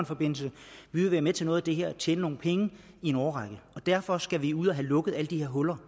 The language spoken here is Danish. forbindelse vi vil være med til noget af det her og tjene nogle penge i en årrække derfor skal vi ud og have lukket alle de her huller